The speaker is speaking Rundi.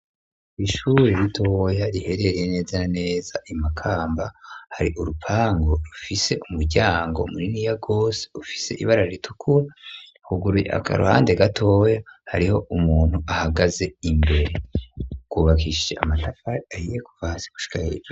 Ishuri ritoya riherereye neza na neza Imakamba hari urupangu rufise umuryango muniniya gose ufise ibarara ritukura huguruye aka ruhande gatoya hariho umuntu ahagaze imbere rwubakishije amatafari ahiye kuva hasi gushika hejuru.